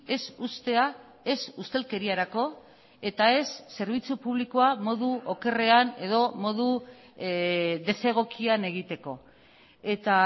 ez uztea ez ustelkeriarako eta ez zerbitzu publikoa modu okerrean edo modu desegokian egiteko eta